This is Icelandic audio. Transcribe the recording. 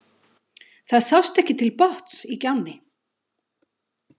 Það sást ekki til botns í gjánni.